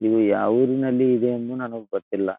ಇದು ಯಾವೂರಲ್ಲಿ ಇಡೇ ಎಂದು ನನಗೆ ಗೊತ್ತಿಲ್ಲ.